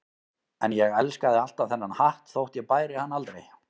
En ég elskaði alltaf þennan hatt þótt ég bæri hann aldrei.